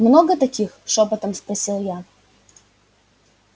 много таких шёпотом спросил я